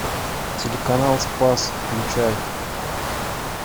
телеканал спас включай